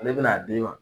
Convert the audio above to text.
Ale bɛna d'i ma